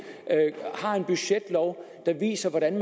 har en budgetlov der viser hvordan